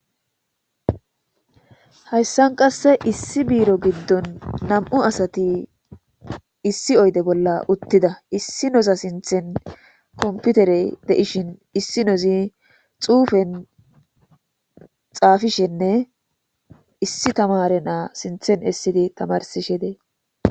hayssan qasse issi biiro giddon nam7u asati issi oyde bolla uttida issi noza sinthen komputerey de7ishin issi nozi xuufen xaafishenne issi tamare naa sinthen essidi tamarsishe dee